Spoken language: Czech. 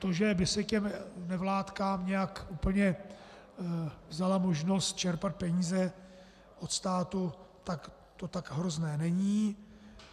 To, že by se těm nevládkám nějak úplně vzala možnost čerpat peníze od státu, tak to tak hrozné není.